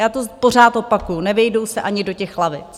Já to pořád opakuju, nevejdou se ani do těch lavic.